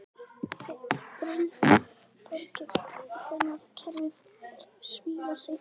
Brynja Þorgeirsdóttir: Þannig að kerfið er svifaseint?